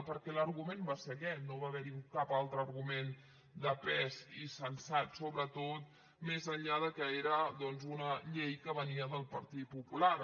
perquè l’argument va ser aquest no va haver hi cap altre argument de pes i sensat sobretot més enllà que era doncs una llei que venia del partit popular